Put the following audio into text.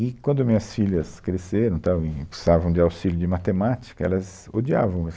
E quando minhas filhas cresceram tal e precisavam de auxílio de matemática, elas odiavam.